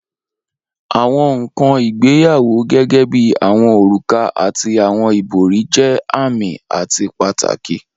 Awọn nkan igbeyawo gẹgẹbi awọn oruka ati awọn ibori jẹ aami ati pataki.